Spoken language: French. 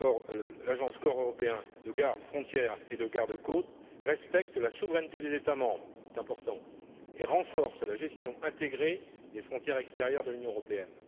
Le corps européen de garde frontières et de garde côtes respecte la souveraineté des États membres c'est important et renforce la gestion intégrée des frontières extérieures de l'Union européenne.